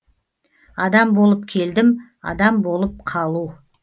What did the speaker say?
адам болып келдім адам болып қалу